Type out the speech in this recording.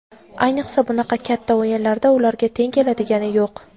Ayniqsa bunaqa katta o‘yinlarda ularga teng keladigani yo‘q.